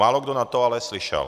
Málo kdo na to ale slyšel.